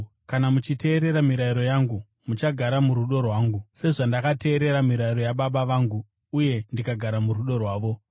Kana muchiteerera mirayiro yangu, muchagara murudo rwangu, sezvandakateerera mirayiro yaBaba vangu uye ndikagara murudo rwavo.